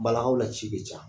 Bala kaw la ci ka ca.